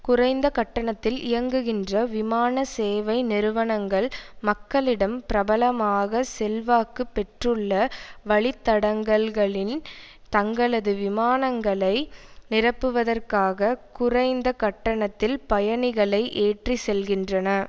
குறைந்த கட்டணத்தில் இயங்குகின்ற விமான சேவை நிறுவனங்கள் மக்களிடம் பிரபலமாக செல்வாக்கு பெற்றுள்ள வழித்தடங்கல்களில் தங்களது விமானங்களை நிரப்புவதற்காக குறைந்த கட்டணத்தில் பயணிகளை ஏற்றி செல்கின்றன